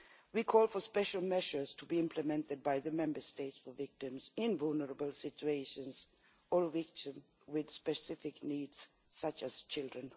We call for special measures to be implemented by the Member States for victims in vulnerable situations or victims with specific needs, such as children